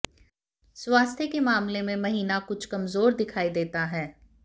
स्वास्थ्य के मामले में महीना कुछ कमजोर दिखाई देता है